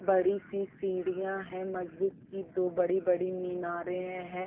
बड़ी सी सीढिया है मस्जिद की। दो बड़ी बड़ी मीनारे है।